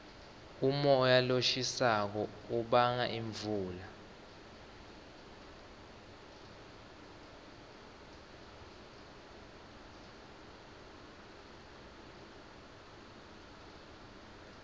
umoya loshisako ubanga imvula